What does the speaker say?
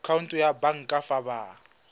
khoutu ya banka fa ba